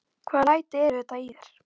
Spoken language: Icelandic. Hvaða læti eru þetta í þér!